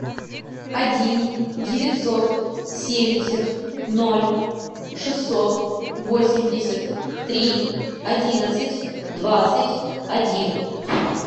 один девятьсот семьдесят ноль шестьсот восемьдесят три одиннадцать двадцать один